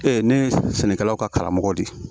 Ee ne ye sɛnɛkɛlaw ka karamɔgɔ de ye